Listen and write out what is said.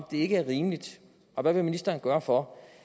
det ikke er rimeligt og hvad ministeren vil gøre for